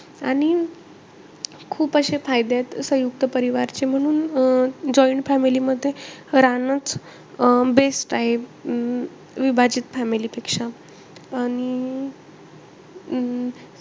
आणि खूप अशे फायदे आहे सयुंक्त परिवारचे. म्हणून अं joint family मध्ये राहणंच best आहे. अं विभाजित family पेक्षा. आणि अं